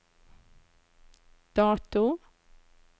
dato